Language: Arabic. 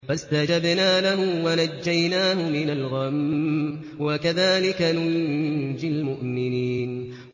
فَاسْتَجَبْنَا لَهُ وَنَجَّيْنَاهُ مِنَ الْغَمِّ ۚ وَكَذَٰلِكَ نُنجِي الْمُؤْمِنِينَ